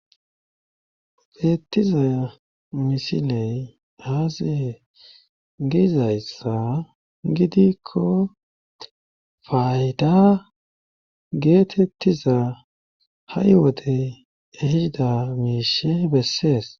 beettiza misiley azee giizayssa gidikko fayda geetettiza ha7i wodey ehida miishe bessees